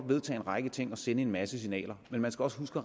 vedtage en række ting og sende en masse signaler men man skal også huske